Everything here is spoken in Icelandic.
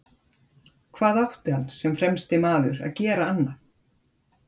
Hvað átti hann sem fremsti maður að gera annað?